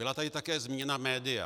Byla tady také zmíněna média.